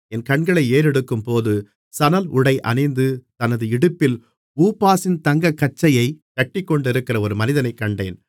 என் கண்களை ஏறெடுக்கும்போது சணல்உடை அணிந்து தமது இடுப்பில் ஊப்பாசின் தங்கக்கச்சையைக் கட்டிக்கொண்டிருக்கிற ஒரு மனிதனைக் கண்டேன்